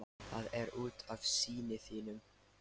Það er út af syni þínum.